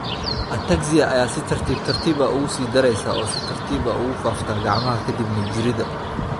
Ataxia ayaa si tartiib tartiib ah uga sii dareysa oo si tartiib ah ugu faafta gacmaha ka dibna jirridda.